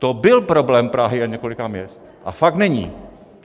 To byl problém Prahy a několika měst, a fakt není!